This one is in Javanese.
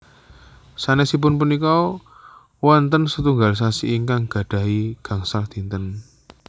Sanesipun punika wonten setunggal sasi ingkang gadhahi gangsal dinten